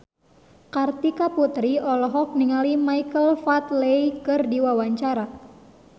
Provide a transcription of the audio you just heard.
Kartika Putri olohok ningali Michael Flatley keur diwawancara